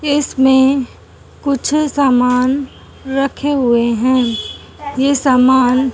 इसमें कुछ सामान रखे हुए हैं ये सामान--